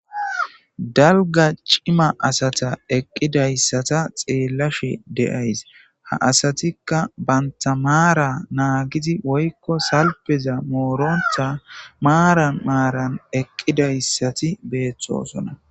Dalga cima asata eqqidayssata xeellashe deays ha asatikka banta maara naagizi woykko salpeza moorontha maara maaran eqqidayssati beeththosona.